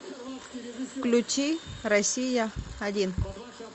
включи россия один